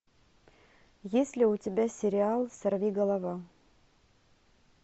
есть ли у тебя сериал сорви голова